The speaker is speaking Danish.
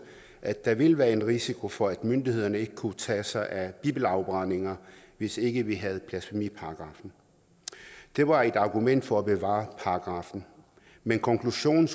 at der ville være en risiko for at myndighederne ikke kunne tage sig af bibelafbrændinger hvis ikke vi havde en blasfemiparagraf det var et argument for at bevare paragraffen men konklusionen